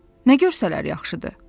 Nə görsələr yaxşıdır?